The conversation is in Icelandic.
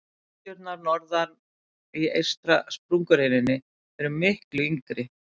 Dyngjurnar norðar á eystri sprungureininni eru miklu yngri.